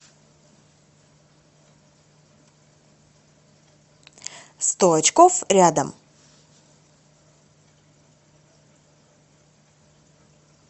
сто очков рядом